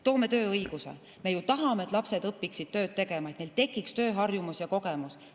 Võtame tööõiguse: me ju tahame, et lapsed õpiksid tööd tegema, et neil tekiks tööharjumus ja ‑kogemus.